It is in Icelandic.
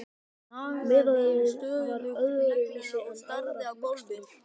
Meðalið var öðru vísi en aðrar mixtúrur.